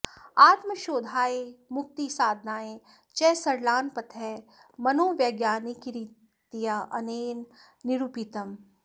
आत्मशोधाय मुक्तिसाधनाय च सरलान् पथः मनोवैज्ञानिकरीत्या अनेन निरूपितम्